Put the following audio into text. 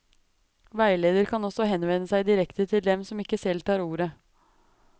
Veileder kan også henvende seg direkte til dem som ikke selv tar ordet.